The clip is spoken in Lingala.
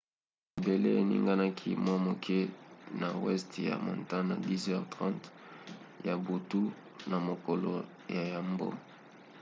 mabele eninganaki mwa moke na weste ya montana na 10:08 ya butu na mokolo ya yambo